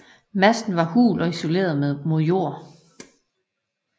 Masten var hul og isoleret mod jord